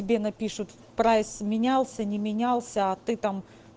тебе напишут прайс менялся не менялся а ты там